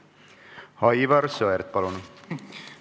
Aivar Sõerd, palun!